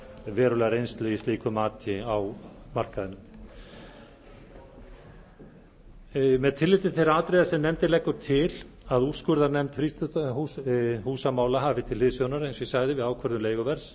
verulega reynslu í slíku mati á markaðnum með tilliti til þeirra atriða sem nefndin leggur til að úrskurðarnefnd frístundahúsamála hafi til hliðsjónar eins og ég sagði við ákvörðun leiguverðs